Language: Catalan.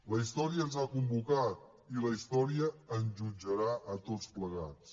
la història ens ha convocat i la història ens jutjarà a tots plegats